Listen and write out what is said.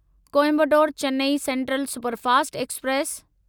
Coimbatore Chennai central superfast express